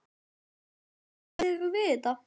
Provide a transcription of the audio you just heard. Haukur: Ræðirðu við þetta?